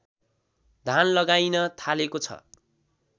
धान लगाइन थालेको छ